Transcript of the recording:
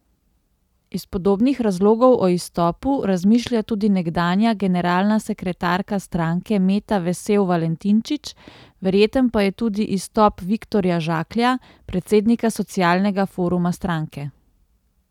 Iz podobnih razlogov o izstopu razmišlja tudi nekdanja generalna sekretarka stranke Meta vesel Valentinčič, verjeten pa je tudi izstop Viktorja Žaklja, predsednika socialnega foruma stranke.